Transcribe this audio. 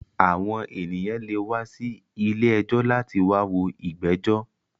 Àwọn ènìyàn lè wá sí ilé ẹjọ́ láti wá wo ìgbẹ́jọ̀